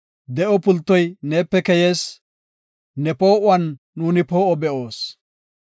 De7o pultoy neepe keyees; ne poo7uwan nuuni poo7o be7oos.